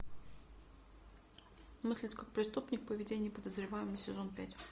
мыслить как преступник поведение подозреваемого сезон пять